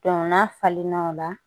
n'a falenna o la